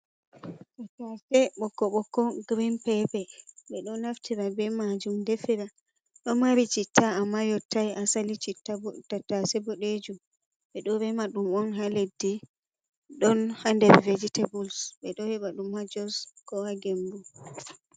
Tattase ɓoko ɓoko green paper, ɓeɗo naftira be majum defira ɗomari citta amma yottai asali citta bo tattase boɗejum ɓeɗo rema ɗum on ha leddi ɗon hander vejetables ɓeɗo heɓa ɗum ha jos koha gembu.